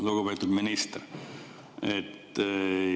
Lugupeetud minister!